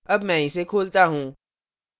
अब मैं इसे खोलता हूँ